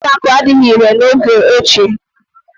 Mpio amako adịghị irè n'oge ochie.